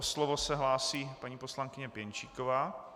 O slovo se hlásí paní poslankyně Pěnčíková.